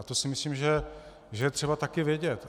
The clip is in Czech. A to si myslím, že je třeba také vědět.